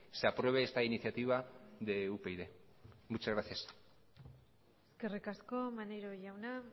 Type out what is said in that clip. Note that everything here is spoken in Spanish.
se apruebe esta iniciativa de upyd muchas gracias eskerrik asko maneiro jauna